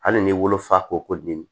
Hali n'i wolo fa ko ɲimi